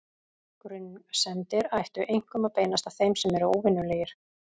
Grunsemdir ættu einkum að beinast að þeim sem eru óvenjulegir.